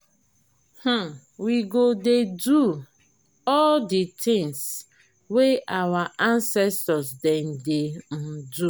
um we go dey do all di tins wey our ancestor dem dey um do.